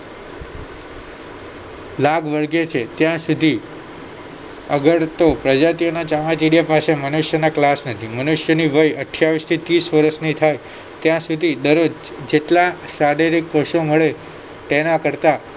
leg વળગે છે ત્યાં સુધી તો અગરતો પ્રજાતિના ચામાચીડિયા પાસે મનુષ્યોના નથી મનુષ્યોની વાય અઠ્યાવીશ થી ત્રીશની વર્ષ થાય ત્યાં સુધી દરરોજ જેટલા શારીરિક કોષો મળે તેના કરતા